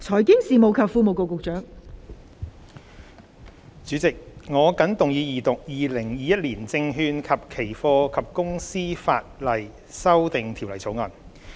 代理主席，我謹動議二讀《2021年證券及期貨及公司法例條例草案》。